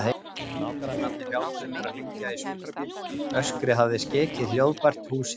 Nágrannarnir hjálpuðu mér að hringja í sjúkrabíl, öskrið hafði skekið hljóðbært húsið.